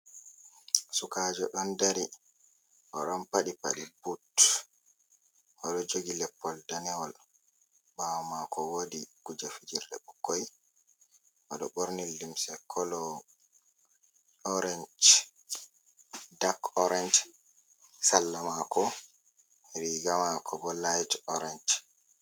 Sukaajo ɗon dari. Oɗon paɗi paɗe but, oɗo jogi leppol danewol, ɓaawo maako woodi kuje fijirde ɓukkoi. Oɗo ɓorni limse kolo orenj dak orenj, salla maako, riga maako bo layt orenj.